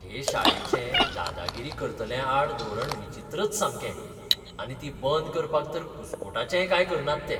हे शाळेचें दादागिरी करतल्यांआड धोरण विचित्रच सामकें. आनी ती बंद करपाक तर कुस्कूटाचेंय कांय करनात ते.